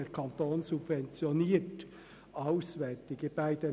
Bern subventioniert auswärtige Studierende.